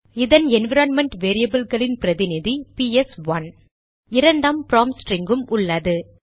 இதன் என்விரான்மென்ட் வேரியபில்களின் பிரதிநிதி பிஎஸ்ஒன்றுPS1 இரண்டாம் ப்ராம்ப்ட் ஸ்டிரிங்கும் உள்ளது